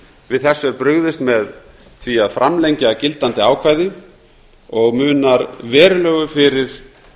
við þessu er brugðist með því að framlengja gildandi ákvæði og munar verulegu fyrir